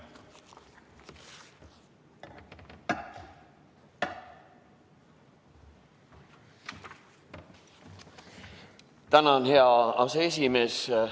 Tänan, hea aseesimees!